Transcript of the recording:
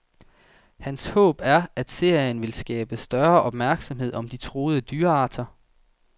Hans håb er, at serien vil skabe større opmærksomhed om de truede dyrearter.